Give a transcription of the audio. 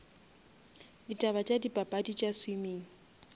ditaba tša dipapadi tša swimming